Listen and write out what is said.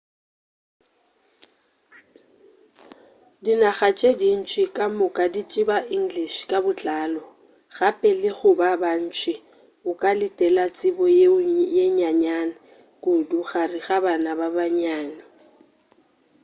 dinaga tše dintši kamoka di tseba english ka botlalo gape le go ba bantši o ka letela tsebo yeo nnyane kudu gare ga bana ba bannyane